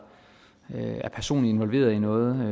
er personligt involveret i noget med